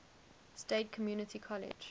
state community college